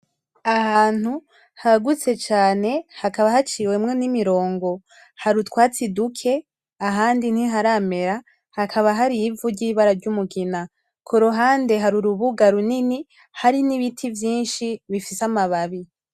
Ahantu hagutse cane hakaba haciwemwo n'imirongo. Har'utwatsi duke ahandi ntiharamera hakaba har'ivu ry'ibara ry'umugina. Kuruhande harurubuga runini hari n'ibiti vyinshi bifise amababi.